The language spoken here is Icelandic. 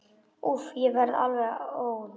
Úff, ég verð alveg óður.